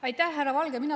Aitäh, härra Valge!